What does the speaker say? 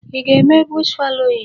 Ị ga-eme bush fallowing?